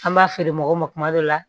An b'a feere mɔgɔw ma kuma dɔ la